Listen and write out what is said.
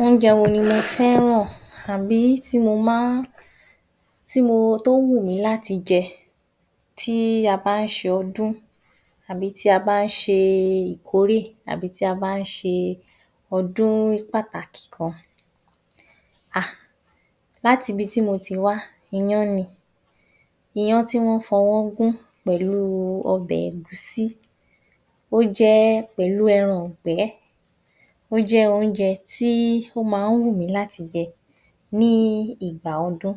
Oúnjẹ wo ni mo fẹ́ràn tàbí tó wùmí láti jẹ tí a bá ń ṣe ọdún tàbí tí a bá ń ṣe ìkórè tàbí tí a bá ń ṣe ọdún pàtàkì kan? Haa! um láti ibi tí mo ti wá, iyán ni iyán tí wọ́n fọwọ́ gún pẹ̀lú ọbẹ̀ ẹ̀gúsí ó jẹ́, Pẹ̀lú ẹran ìgbẹ́ ó jẹ́ oúnjẹ tí ó máa ń wù mí láti jẹ ní ìgbà ọdún,